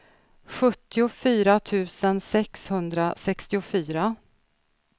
sjuttiofyra tusen sexhundrasextiofyra